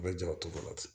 U bɛ jɔrɔ cogo dɔ la ten